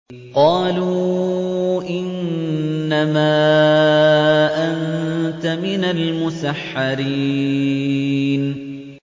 قَالُوا إِنَّمَا أَنتَ مِنَ الْمُسَحَّرِينَ